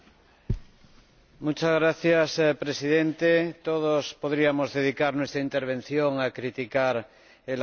Señor Presidente, todos podríamos dedicar nuestra intervención a criticar el acuerdo de perspectivas financieras